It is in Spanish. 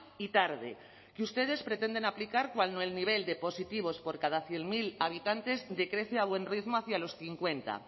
y tarde que ustedes pretenden aplicar cuando el nivel de positivos por cada cien mil habitantes decrece a buen ritmo hacia los cincuenta